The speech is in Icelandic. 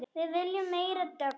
Við viljum meiri dögg!